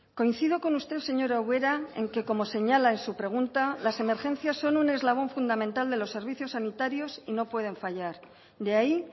coincido con usted señora ubera en que como señala en su pregunta las emergencias son un eslabón fundamental de los servicios sanitarios y no pueden fallar de ahí